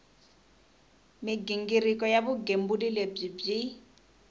mighingiriko ya vugembuli lebyi byi